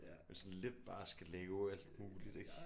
Men sådan lidt bare skal lave alt muligt ik